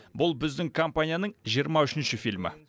бұл біздің компанияның жиырма үшінші фильмі